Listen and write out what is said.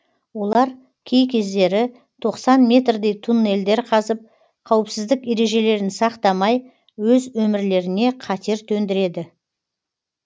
олар кей кездері тоқсан метрдей туннельдер қазып қауіпсіздік ережелерін сақтамай өз өмірлеріне қатер төндіреді